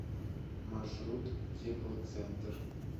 маршрут теплоцентр